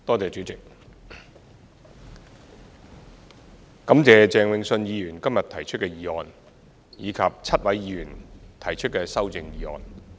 主席，感謝鄭泳舜議員今日提出的議案，以及7位議員提出的修正案。